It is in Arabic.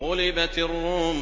غُلِبَتِ الرُّومُ